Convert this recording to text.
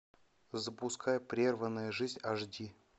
запускай прерванная жизнь аш ди